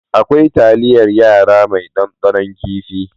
Akwai talyar yara mai dandanon kifi.